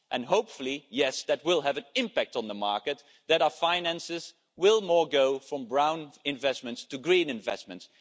Hopefully, that will have an impact on the market, so that our finances will go from brown investments to more green investments.